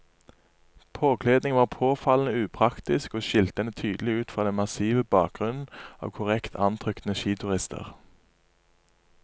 Påkledningen var påfallende upraktisk og skilte henne tydelig ut fra den massive bakgrunnen av korrekt antrukne skiturister.